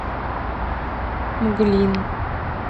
мглин